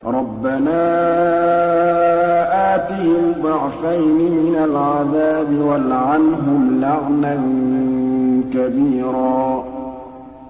رَبَّنَا آتِهِمْ ضِعْفَيْنِ مِنَ الْعَذَابِ وَالْعَنْهُمْ لَعْنًا كَبِيرًا